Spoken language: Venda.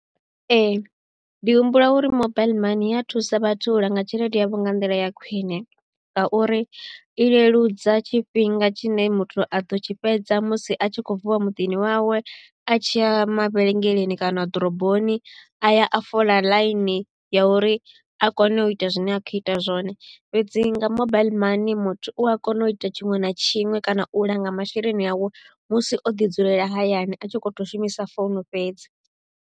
Ee ndi humbula uri mobile money i ya thusa vhathu u langa tshelede yavho nga nḓila ya khwine ngauri i leludza tshifhinga tshine muthu a ḓo tshi fhedza musi a tshi khou vuwa muḓini wawe a tshi ya mavhelengeleni kana ḓoroboni a ya a fola ḽaini ya uri a kone u ita zwine a khou ita zwone. Fhedzi nga mobile money muthu u a kona u ita tshiṅwe na tshiṅwe kana u langa masheleni awe musi o ḓi dzulela hayani a tshi kho to shumisa founu fhedzi.